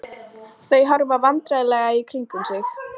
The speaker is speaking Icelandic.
Þau horfa vandræðalega í kringum sig.